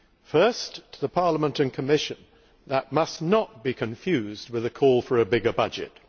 First to the Parliament and Commission, to say that this must not be confused with a call for a bigger budget.